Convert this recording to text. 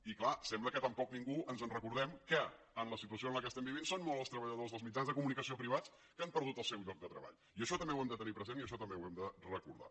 i clar sembla que tampoc ningú ens recordem que en la situació en què estem vivint són molts els treballadors dels mitjans de comunicació privats que han perdut el seu lloc de treball i això també ho hem de tenir present i això també ho hem de recordar